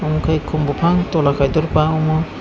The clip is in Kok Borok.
amo kei kom bopang towla kaitoro bangma.